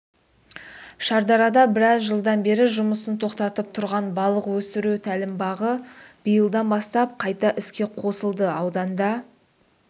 шардарада біраз жылдан бері жұмысын тоқтатып тұрған балық өсіру тәлімбағы биылдан бастап қайта іске қосылды ауданда